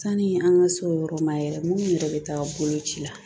Sani an ka s'o yɔrɔ ma yɛrɛ minnu yɛrɛ bɛ taa boloci la